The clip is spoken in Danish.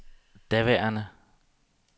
daværende